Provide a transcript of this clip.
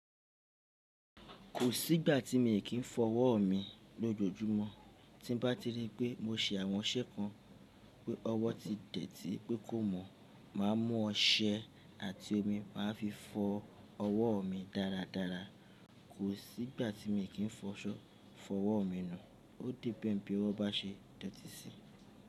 Kò sí ìgbà tí mi kì í fọ ọwọ́ mi lójoojúmọ́. Tí bá ti rí pé mo ṣe àwọn iṣẹ́ kan pé ọwọ́ ti dẹ̀ tí pé kò mọ́, màá mú ọṣẹ àti omi màá fi fọ ọwọ́ mi dáradára. Kò sí ìgbà tí mi kì í fọso fo ọwọ́ mi nu. Ó depend bí ọwọ́ bá ṣe dọ̀tí síi.